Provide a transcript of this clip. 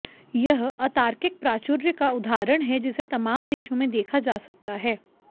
यह अतार्किक प्राचुर्य का उदाहरण है जिसे तमाम देशों में देखा जा सकता है